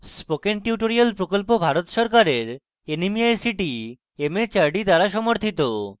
spoken tutorial প্রকল্প ভারত সরকারের nmeict mhrd দ্বারা সমর্থিত